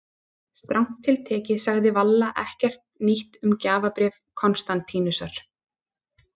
Strangt til tekið sagði Valla ekkert nýtt um gjafabréf Konstantínusar.